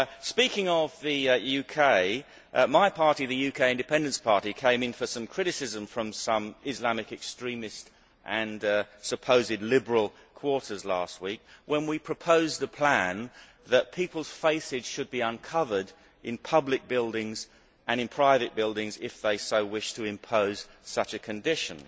Speaking of the UK, my party, the UK Independence Party, came in for some criticism from some Islamic extremist and supposedly liberal quarters last week when we proposed a plan that people's faces should be uncovered in public buildings, and in private buildings if those concerned wish to impose such a condition.